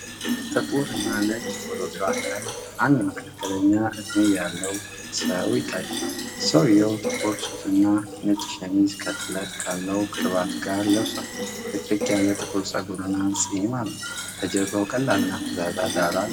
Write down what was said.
ጥቁርና ነጭ ፎቶግራፍ ላይ አንድ መካከለኛ እድሜ ያለው ሰው ይታያል። ሰውዬው ጥቁር ሱፍና ነጭ ሸሚዝ ከጥለት ካለው ክራባት ጋር ለብሷል። ጥቅጥቅ ያለ ጥቁር ፀጉርና ንፁህ ፂም አለው፤ ከጀርባው ቀላልና ፈዛዛ ዳራ አለ።